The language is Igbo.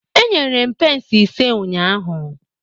Enyere m pence ise ụnyahụ